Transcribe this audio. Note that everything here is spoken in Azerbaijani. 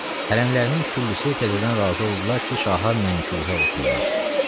Hərəmlərinin küllüsü təzədən razı oldular ki, şaha mənkuhə olsunlar.